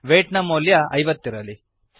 white ನ ಮೌಲ್ಯ ಐವತ್ತಿರಲಿ